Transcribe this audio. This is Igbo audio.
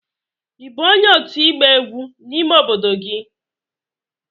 Ị bụ onye otu igba egwu n'ime obodo gị?